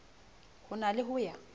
ho na le ho ya